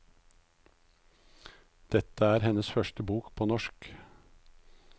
Dette er hennes første bok på norsk.